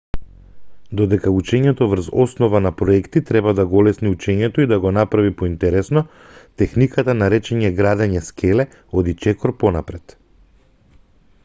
додека учењето врз основа на проекти треба да го олесни учењето и да го направи поинтересно техниката наречена градење скеле оди чекор понапред